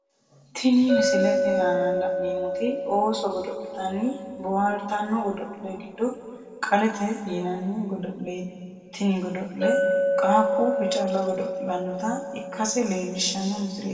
Tinni misilete aanna la'neemoti ooso godo'litanni bohaartano godo'le gido qalete yananni godo'leeti tinni godo'le qaaquulu calla godo'lanota ikase leelishano misileeti.